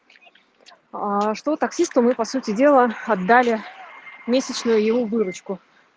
что таксисту мы по сути дела отдали месячную его выручку